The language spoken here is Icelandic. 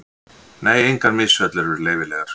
Nei, engar misfellur eru leyfilegar.